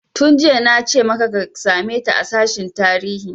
Tun jiya nace maka ka same ta a sashen tarihi!